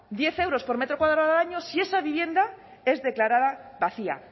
diez euros por metro cuadrado si esa vivienda es declarada vacía